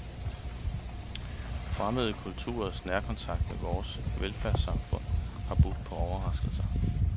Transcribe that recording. Fremmede kulturers nærkontakt med vores velfærdssamfund har budt på overraskelser.